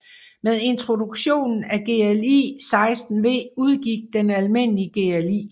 Med introduktionen af GLI 16V udgik den almindelige GLI